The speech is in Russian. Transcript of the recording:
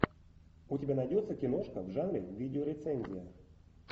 у тебя найдется киношка в жанре видеорецензия